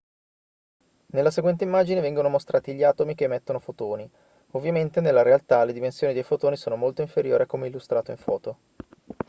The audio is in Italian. nella seguente immagine vengono mostrati gli atomi che emettono fotoni ovviamente nella realtà le dimensioni dei fotoni sono molto inferiori a come illustrato in foto